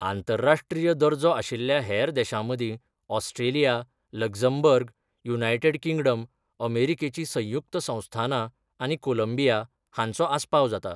आंतरराश्ट्रीय दर्जो आशिल्ल्या हेर देशांमदीं ऑस्ट्रेलिया, लक्समबर्ग, युनायटेड किंगडम, अमेरिकेचीं संयुक्त संस्थानां आनी कोलंबिया हांचो आस्पाव जाता.